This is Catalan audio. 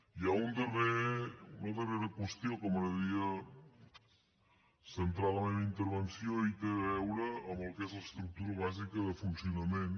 hi ha una darrera qüestió en què m’agradaria centrar la meva intervenció i té a veure amb el que és l’estructura bàsica de funcionament